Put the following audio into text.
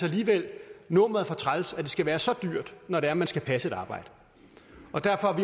alligevel er nummeret for træls at det skal være så dyrt når det er man skal passe et arbejde og derfor